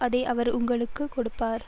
அதை அவர் உங்களுக்கு கொடுப்பர்